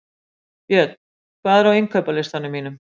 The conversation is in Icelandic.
Björn, hvað er á innkaupalistanum mínum?